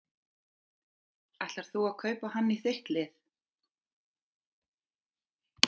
Ætlar þú að kaupa hann í þitt lið?